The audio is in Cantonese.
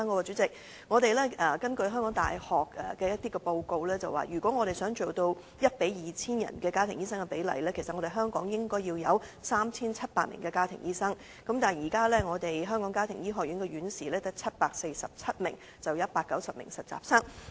主席，根據香港大學的報告，如果家庭醫生與香港市民的比例要做到 1：2000， 其實香港應有 3,700 名的家庭醫生，但現時香港家庭醫學學院只有747名院士及190名實習生。